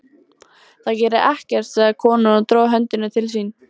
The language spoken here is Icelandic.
Það gerir ekkert, sagði konan og dró höndina til sín.